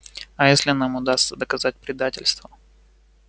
а если нам удастся доказать предательство